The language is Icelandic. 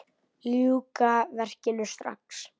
Ljúka verkinu strax.